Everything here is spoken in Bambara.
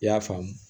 I y'a faamu